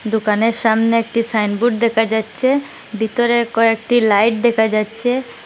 দোকানের সামনে একটি সাইনবোর্ড দেকা যাচ্চে বিতরে কয়েকটি লাইট দেখা যাচ্চে ।